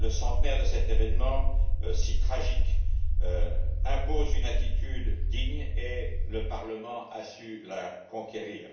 Le centenaire de cet événement, si tragique, impose une attitude digne et le Parlement a su la conquérir.